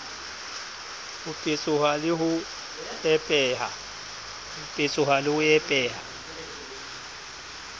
ho petsoha le ho epeha